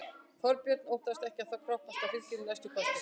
Þorbjörn: Óttastu ekki að það kroppist af fylginu í næstu kosningum?